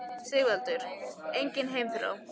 Sighvatur: Engin heimþrá?